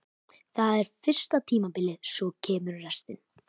Það er fyrsta tímabilið, svo kemur restin.